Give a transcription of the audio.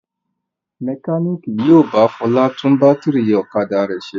Mẹkáníkì yóò bá Fọlá tún bátírí ọ̀kadà rẹ̀ ṣe.